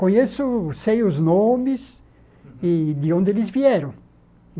Conheço sei os nomes e de onde eles vieram.